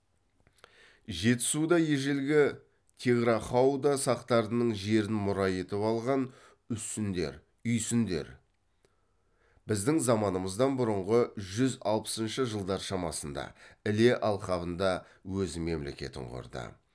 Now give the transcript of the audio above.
жетісуда ежелгі тиграхауда сақтарының жерін мұра етіп алған усундер үйсіндер біздің заманымыздан бұрынғы жүз алпысыншы жылдар шамасында іле алқабында өз мемлекетін құрды